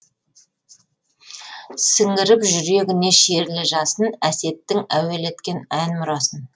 сіңіріп жүрегіне шерлі жасын әсеттің әуелеткен ән мұрасын